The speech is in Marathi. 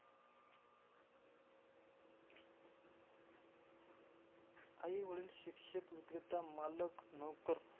आईवडील, शिक्षक, विक्रेता, मालक, नोकर.